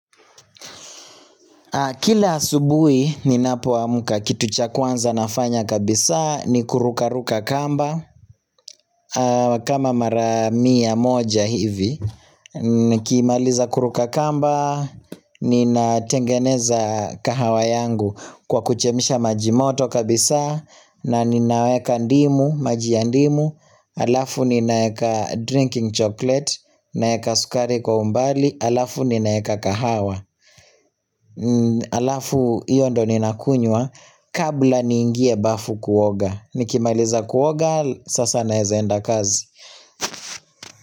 Kila asubuhi ninapoamka kitu cha kwanza nafanya kabisa ni kurukaruka kamba kama mara mia moja hivi nikimaliza kuruka kamba ninatengeneza kahawa yangu kwa kuchemsha maji moto kabisaa na ninaweka maji ya ndimu Alafu ninaeka drinking chocolate naeka sukari kwa umbali alafu ninaeka kahawa Alafu hiyo ndio ninakunyua Kabla niingie bafu kuoga Nikimaliza kuoga Sasa naeza enda kazi.